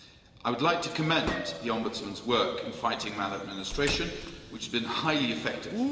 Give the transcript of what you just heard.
I would like to commend the Ombudsman's work in fighting maladministration, which has been highly effective.